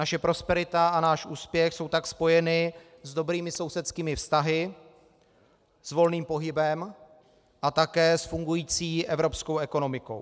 Naše prosperita a náš úspěch jsou tak spojeny s dobrými sousedskými vztahy, s volným pohybem a také s fungující evropskou ekonomikou.